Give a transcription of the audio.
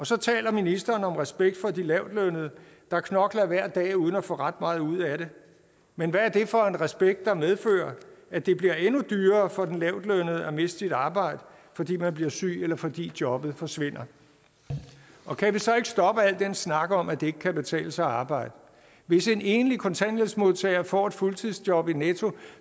så taler ministeren om respekt for de lavtlønnede der knokler hver dag uden at få ret meget ud af det men hvad er det for en respekt der medfører at det bliver endnu dyrere for den lavtlønnede at miste sit arbejde fordi man bliver syg eller fordi jobbet forsvinder kan vi så ikke stoppe al den snak om at det ikke kan betale sig at arbejde hvis en enlig kontanthjælpsmodtager får et fuldtidsjob i netto